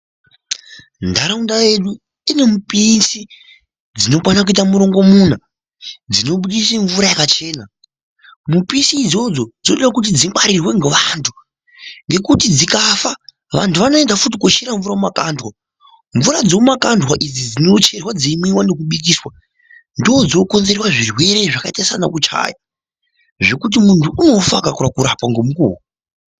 Nharaunda yedu inemupisi dzinokwana kuita murongomuna dzinobudise mvura yakachena mupisi idzodzo dzinode kuti dzingwarirwe ngevanhu ngekuti dzikafa anhu anoenda futi kochere mvura mumakandwa, mvura dzemumakandwa idzi dzinocherwa dzeimwiwa nekubikisa ndidzo dzinokonzera zvirwere zvakaita sana kuchaya zvekuti muntu unofa akareka kurapwa ngemukuwo.